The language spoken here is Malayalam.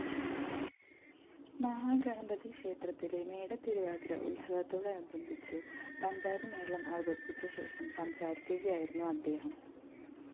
മഹാഗണപതിക്ഷേത്രത്തിലെ മേടത്തിരുവാതിര ഉത്സവത്തോടനുബന്ധിച്ച് പഞ്ചാരിമേളം അവതരിപ്പിച്ച ശേഷം സംസാരിക്കുകയായിരുന്നു അദ്ദേഹം